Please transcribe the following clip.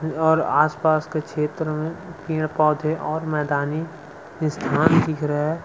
अ और आस-पास के क्षेत्र में पेड़-पौधे और मैदानी स्थान दिख रहा है।